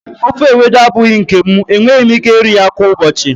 ofe Ewedu abụghị nke m, enweghị m ike iri ya kwa ụbọchị.